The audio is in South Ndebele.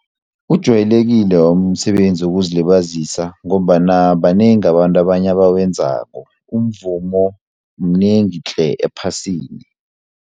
Ujwayelekile wami umsebenzi wokuzilibazisa ngombana banengi abantu abanye abawenzako umvumo mnengi tle ephasini.